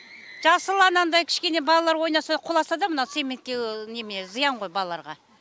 жасыл анандай кішкене балалар ойнаса құласа да мына цементке зиян ғой балаларға